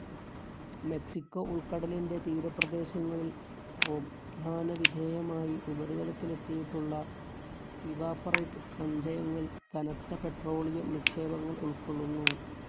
Mexico ഉൾക്കടലിൻ്റെ തീരപ്രദേശങ്ങളിൽ പ്രോത്ധാനവിധേയമായി ഉപരിതലത്തിലെത്തിയിട്ടുള്ള ഇവപോരേറ്റ്‌ സഞ്ചയങ്ങൾ കനത്ത പെട്രോളിയം നിക്ഷേപങ്ങൾ ഉൾക്കൊള്ളുന്നു.